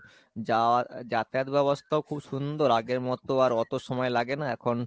যাওয়া যাতায়াত ব্যাবস্তাও খুব সুন্দর আগের মতো আর অতো সময় লাগে না এখন